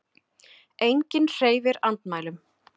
Enginn hreyfir andmælum.